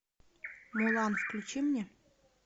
мулан включи мне